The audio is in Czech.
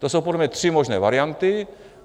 To jsou podle mě tři možné varianty.